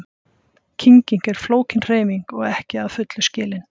Kynging er flókin hreyfing og er ekki að fullu skilin.